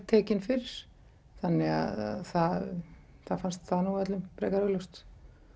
tekin fyrir þannig að það fannst það nú öllum frekar augljóst